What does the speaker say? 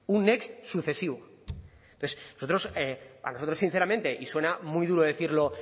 un next sucesivo entonces a nosotros sinceramente y suena muy duro decirlo